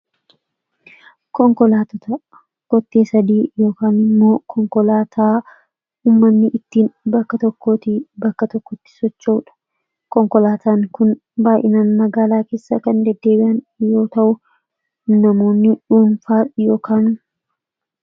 konkolaattota kotte 3 yookiin immoo konkolaataa ummanni ittiin bakka tokkooti bakka tokkotti socha'uudha konkolaataan kun baay'inaan magaalaa keessa kan deddeebi'an yoo ta'u namoonni dhuunfaa ykanu